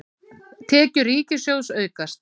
Tekjur ríkissjóðs aukast